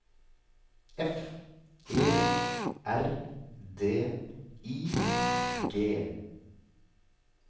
F E R D I G